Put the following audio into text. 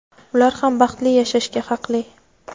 Ular ham baxtli yashashga haqli.